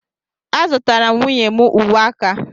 a zụtara m nwunye m uwe aka a